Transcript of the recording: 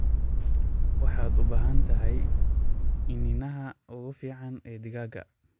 Waxaad u baahan tahay iniinaha ugu fiican ee digaagga.